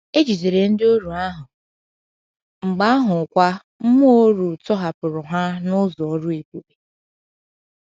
E jidere ndịoru ahụ, mgbe ahụkwa mmụọ oru tọhapụrụ ha n’ụzọ ọrụ ebube.